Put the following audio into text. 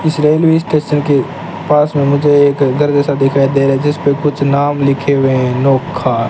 इस railway station के पास में मुझे एक घर जैसा दिखाई दे रहा है जिसपे कुछ नाम लिखे हुए हैं नोखा --